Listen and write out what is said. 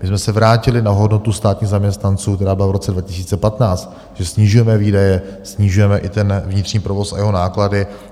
My jsme se vrátili na hodnotu státních zaměstnanců, která byla v roce 2015, že snižujeme výdaje, snižujeme i ten vnitřní provoz a jeho náklady.